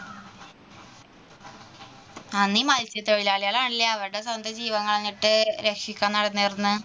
ഈ മത്സ്യത്തൊഴിലാളികൾ ആയിരുന്നില്ലേ അവരുടെ സ്വന്തം ജീവൻ കളഞ്ഞിട്ട് രക്ഷിക്കാൻ നടന്നേ